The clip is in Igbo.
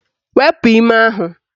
Wepu ime ahụ